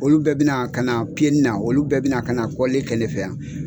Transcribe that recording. Olu bɛɛ bɛ na ka na piyeni na olu bɛɛ bɛ na ka na kɔlili kɛ ne fɛ yan.